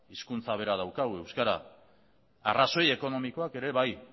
hizkuntza bera daukagu euskara eta arrazoi ekonomikoak ere bai